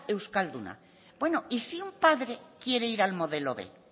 euskalduna bueno y si un padre quiere ir al modelo b